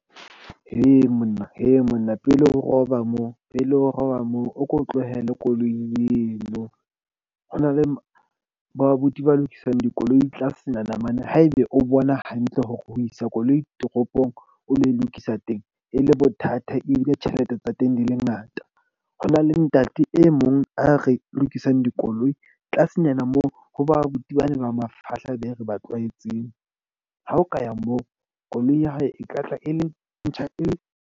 Monna monna pele o roba moo pele o roba moo, o ko tlohelle koloi eno. Ho na le bo abuti ba lokisang dikoloi tlasenyana mane haebe o bona hantle hore ho isa koloi toropong, o lo lokisa teng e le bothata. Ebile tjhelete tsa teng di le ngata. Ho na le ntate e mong. A re lokisang dikoloi tlasenyana moo ho ba abuti, bane ba mafahla be re ba tlwaetseng. Ha o ka ya moo, koloi ya hao e tla tla e le ntjha e.